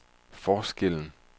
forskellen